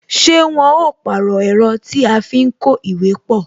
Ṣé wọn ó pàrọ̀ ẹ̀rọ tí a fi ń kó ìwé pọ?